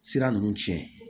Sira ninnu tiɲɛ